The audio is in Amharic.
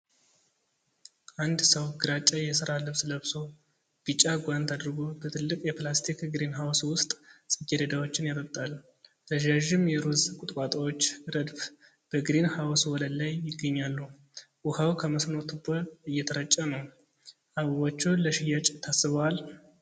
አንድ ሰው ግራጫ የሥራ ልብስ ለብሶ፣ ቢጫ ጓንት አድርጎ፣ በትልቅ የፕላስቲክ ግሪንሃውስ ውስጥ ጽጌረዳዎችን ያጠጣል። ረዣዥም የሮዝ ቁጥቋጦዎች ረድፍ በግሪን ሃውስ ወለል ላይ ይገኛሉ። ውኃው ከመስኖ ቱቦ እየተረጨ ነው። አበቦቹ ለሽያጭ ታስበዋል?